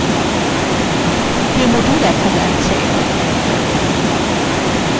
demo2 দেখা যাচ্ছে